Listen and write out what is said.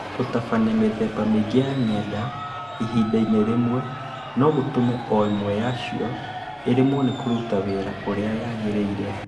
Gũtabania mĩthemba mĩingĩ ya ng’enda ihinda-inĩ rĩmwe no gũtũme o na ĩmwe yacio ĩremwo nĩ kũruta wĩra ũrĩa yagĩrĩire.